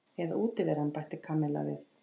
Eða útiveran bætti Kamilla við.